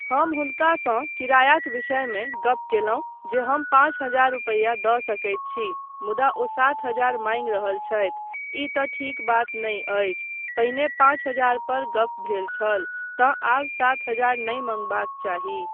हम हुनकासँ किरायाक विषयमे गप कयलहुँ जे हम पाँच हजार रुपैया दऽ सकैत छी मुदा ओ सात हजार माँगि रहल छथि, ई तँ ठीक बात नहि अछि, पहिने पाँच हजार पर गप भेल छल तँ आब सात हजार नहि मंगबाक चाही।